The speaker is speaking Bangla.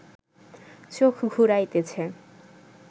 চোখ ঘুরাইতেছে